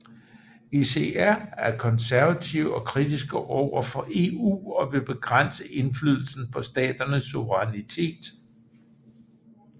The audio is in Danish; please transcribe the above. ECR er konservative og kritiske overfor EU og vil begrænse indflydelsen på staternes suverænitet